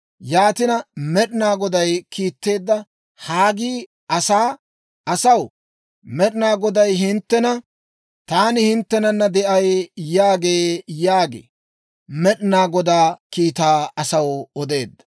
Yaatina, Med'inaa Goday kiitteedda Haggii asaa, «Asaw, Med'inaa Goday hinttena, ‹Taani hinttenana de'ay› yaagee» yaagi Med'inaa Godaa kiitaa asaw odeedda.